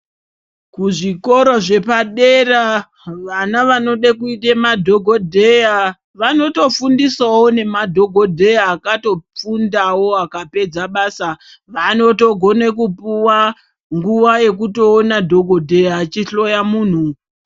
Kuzvikoro zvepadera vana vanode kuite madhokodheya vanotofundiswawo nemadhokodheya akatofundawo akapedza basa, vanotogome kupuwa nguwa yekutoona dhokodheya achihloya munhu.